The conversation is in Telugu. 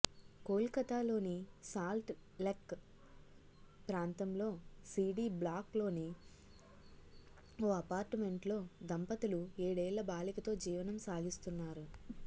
కోల్కతాలోని సాల్ట్ లెక్ ప్రాంత్రంలో సీడీ బ్లాక్ లోని ఓ అపార్టుమెంటులో దంపతులు ఏడేళ్ల బాలికతో జీవనం సాగిస్తున్నారు